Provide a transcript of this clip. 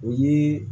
O ye